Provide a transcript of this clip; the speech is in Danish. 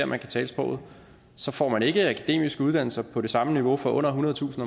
man kan tale sproget så får man ikke akademiske uddannelser på det samme niveau for under ethundredetusind